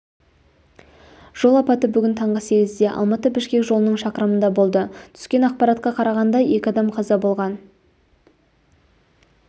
жол апаты бүгін таңғы сегізде алматы-бішкек жолының шақырымында болды түскен ақпаратқа қарағанда екі адам қаза болған